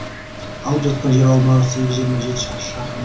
алып жатқан жер аумағы сегіз жиырма жеті шаршы шақырым